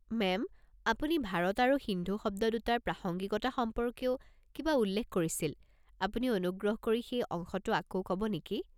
Ma'am, আপুনি ভাৰত আৰু সিন্ধু শব্দ দুটাৰ প্ৰাসংগিকতা সম্পৰ্কেও কিবা উল্লেখ কৰিছিল, আপুনি অনুগ্ৰহ কৰি সেই অংশটো আকৌ ক'ব নেকি?